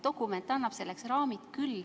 Dokument annab selleks raamid küll.